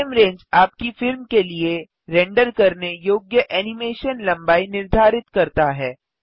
frame range आपकी फिल्म के लिए रेंडर करने योग्य एनिमेशन लंबाई निर्धारित करता है